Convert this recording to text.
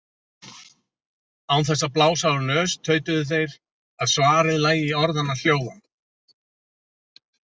Án þess að blása úr nös tautuðu þeir að svarið lægi í orðanna hljóðan.